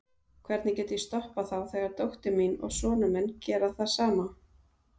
Hvernig get ég stoppað þá þegar dóttir mín og sonur minn gera það sama?